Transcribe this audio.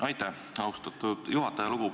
Aitäh, austatud juhataja!